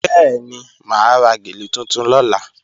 Bẹ́ẹ̀ni, mà á ra gèlè tuntun lọ́la